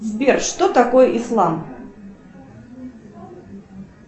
сбер что такое ислам